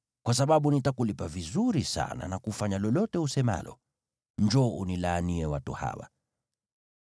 kwa sababu nitakulipa vizuri sana na kufanya lolote usemalo. Njoo unilaanie watu hawa.”